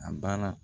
A baara